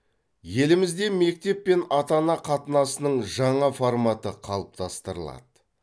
елімізде мектеп пен ата ана қатынасының жаңа форматы қалыптастырылады